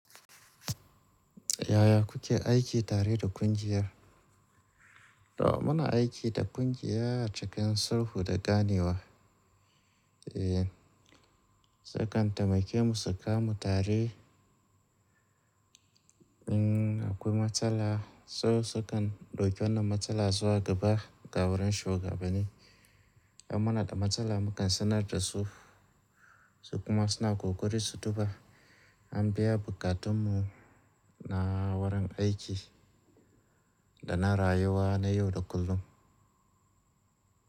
Yaya kuke aiki tare da ƙungiyar? To, muna aiki da ƙungiya a cikin sulhu da ganewa. Eee, su kan taimake mu su kamu tare. Mm, akwai matsala, su su kan dauki wannan matsala zuwa gaba ga wurin shugabanni. In muna da matsala mukaj sanar da su, su kuma suna kokari su duba. An biya bukatun mu na wurin aiki da na rayuwa na yau da kullum.